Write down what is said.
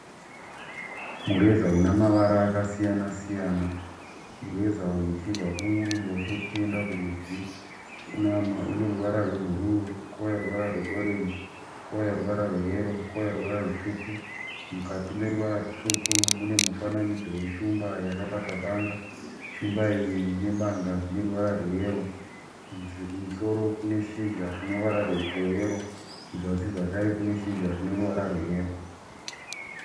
Mureza una mavara akasiyana siyana. Mureza uyu tichibva kuruboshwe tichienda kurudyi une ruvara rwebhuruu kouya ruvara rweorenji kouya ruvara rweyero kouya ruvara rutsvuku. Mukati meruvara rutsvuku mune mufananidzo weshumba yakabata banga. Shumba iyi nebanga zvine ruvara rweyero. Kumusoro kune shizha rine ruvara rweyero kuzasi zvakare kune shizha rine ruvara rweyero.